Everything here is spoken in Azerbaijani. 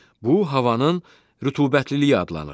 Bu, havanın rütubətliliyi adlanır.